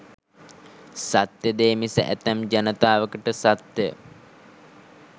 සත්‍ය දේ මිස ඇතැම් ජනතාවකට සත්‍ය